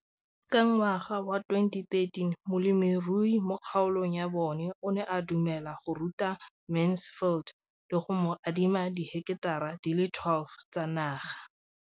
Ka ngwaga wa 2013, molemirui mo kgaolong ya bona o ne a dumela go ruta Mansfield le go mo adima di heketara di le 12 tsa naga.